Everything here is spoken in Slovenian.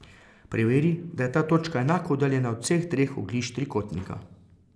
Preveri, da je ta točka enako oddaljena od vseh treh oglišč trikotnika.